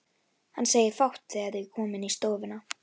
Hann segir fátt þegar þau koma inn í stofuna.